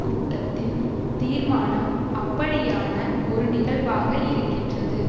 கூட்டத்தின் தீர்மானம் அப்படியான ஒரு நிகழ்வாக இருக்கின்றது